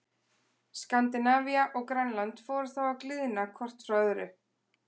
Skandinavía og Grænland fóru þá að gliðna hvort frá öðru.